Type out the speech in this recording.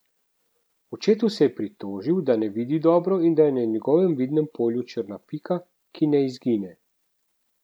Očetu se je pritožil, da ne vidi dobro in da je na njegovem vidnem polju črna pika, ki ne izgine.